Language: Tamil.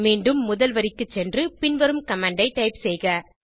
மீண்டும் முதல் வரிக்கு சென்று பின்வரும் கமாண்ட் ஐ டைப் செய்க